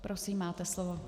Prosím, máte slovo.